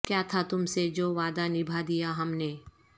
کیا تھا تم سے جو وعدہ نبھا دیا ہم نے